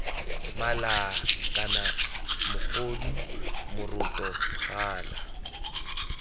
mala kana mogodu moroto gala